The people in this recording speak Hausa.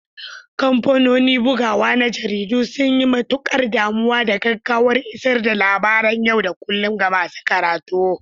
Kamfanonin bugawa na jaridu sun yi matukar damuwa da gaggawar isar da labaran yau da kullun ga masu karatu.